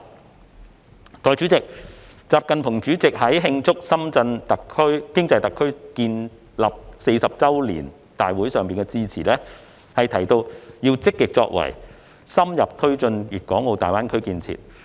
代理主席，國家主席習近平在慶祝深圳經濟特區建立40周年大會上的致辭中提到"積極作為深入推進粵港澳大灣區建設"的要求。